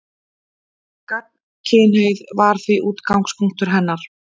Gagnkynhneigð var því útgangspunktur hennar.